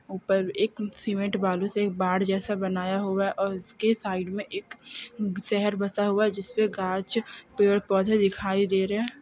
ऊपर एक सीमेंट बालू से एक बार जैसा बनाया होगा और उसके साइड में एक शहर बसा हुआ जिसमें कांच पेड़ पौधे दिखाई दे रहे हैं